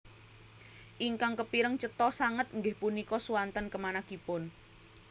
Ingkang kepireng cetha sanget inggih punika swanten kemanakipun